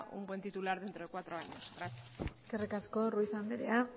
un buen titular dentro de cuatro años eskerrik asko ruiz anderera